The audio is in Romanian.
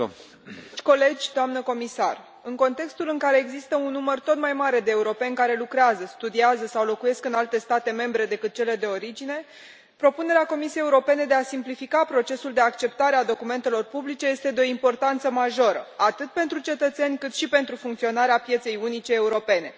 Domnule președinte, dragi colegi, doamnă comisar, în contextul în care există un număr tot mai mare de europeni care lucrează, studiază sau locuiesc în alte state membre decât cele de origine, propunerea Comisiei Europene de a simplifica procesul de acceptare a documentelor publice este de o importanță majoră, atât pentru cetățeni, cât și pentru funcționarea pieței unice europene.